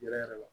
Yɛrɛ yɛrɛ la